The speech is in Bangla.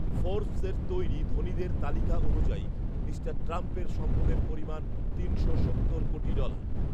ফর্ব্‌সের তৈরি ধনীদের তালিকা অনুযায়ী মিস্টার ট্রাম্পের সম্পদের পরিমাণ তিনশো সত্তর কোটি ডলার